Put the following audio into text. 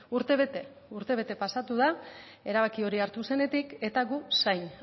urtebete urtebete pasatu da erabaki hori hartu zenetik eta gu zain